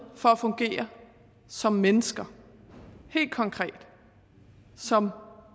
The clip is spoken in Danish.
for at fungere som mennesker helt konkret som